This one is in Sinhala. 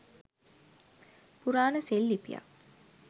පුරාණ සෙල් ලිපියක්